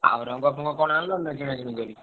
ଆଉ ରଙ୍ଗଫଙ୍ଗ କଣ ଆଣିଲନି ନା କିଣାକିଣି କରି?